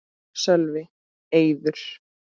Sölvi: Eiður?